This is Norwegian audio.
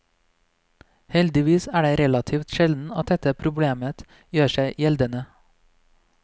Heldigvis er det relativt sjelden dette problemet gjør seg gjeldende.